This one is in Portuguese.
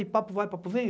E papo vai, papo vem.